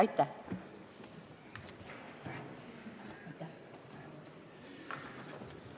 Aitäh!